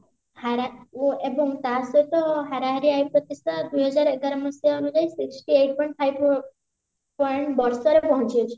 ଏବଂ ତା ସହିତ ହାରାହାରି ଦୁଇହଜାର ଏଗାର ମସିହା ଅନୁଯାଇ sixty eight point five point ବର୍ଷର ପହଞ୍ଚିଯାଇଛି